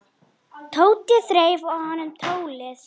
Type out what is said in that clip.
Tóti þreif af honum tólið.